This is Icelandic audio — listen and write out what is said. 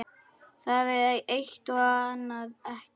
Það eitt- og annað ekki.